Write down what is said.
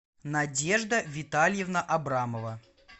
надежда витальевна абрамова